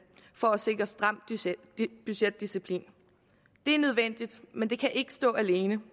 for at sikre stram budgetdisciplin det er nødvendigt men det kan ikke stå alene